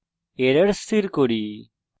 error স্থির করি